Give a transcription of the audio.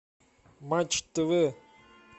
матч тв